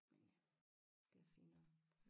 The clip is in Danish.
Men øh det fint nok